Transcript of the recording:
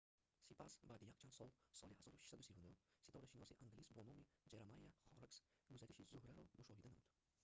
сипас баъди якчанд сол соли 1639 ситорашиноси англис бо номи джеремайя хоррокс гузариши зуҳраро мушоҳида намуд